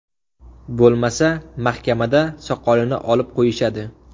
Bo‘lmasa, mahkamada soqolini olib qo‘yishadi.